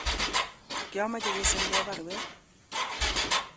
kiameche keserwon baruet